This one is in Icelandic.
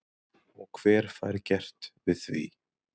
Og hver fær gert við því?